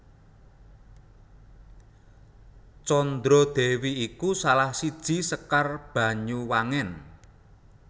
Condro Dewi iku salah siji Sekar Banyuwangen